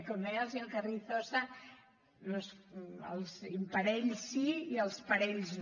com deia el senyor carrizosa els imparells sí i els parells no